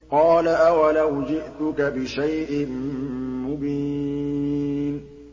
قَالَ أَوَلَوْ جِئْتُكَ بِشَيْءٍ مُّبِينٍ